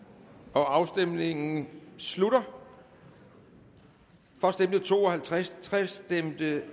afstemningen slutter for stemte to og halvtreds halvtreds